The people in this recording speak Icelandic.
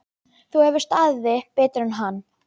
Þú hefur staðið þig betur en hann.